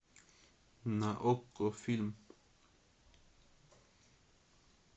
на окко фильм